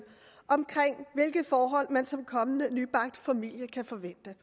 om hvilke forhold man som kommende nybagt familie kan forvente